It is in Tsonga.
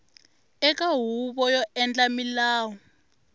eka huvo yo endla milawu